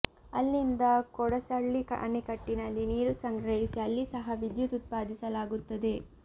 ಅಲ್ಲಿಂದ ಕೊಡಸಳ್ಳಿ ಅಣೆಕಟ್ಟಿನಲ್ಲಿ ನೀರು ಸಂಗ್ರಹಿಸಿ ಅಲ್ಲಿ ಸಹ ವಿದ್ಯುತ್ ಉತ್ಪಾದಿಸಲಾಗುತ್ತದೆ